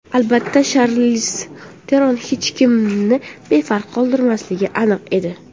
Albatta, Sharliz Teron hech kimni befarq qoldirmasligi aniq edi.